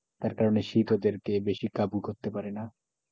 তার কারণে শীত ওদেরকে বেশি কাবু করতে পারে না,